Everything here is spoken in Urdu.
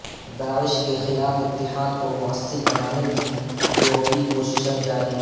داعش کے خلاف اتحاد کو موثر بنانے کی یورپی کوششیں جاری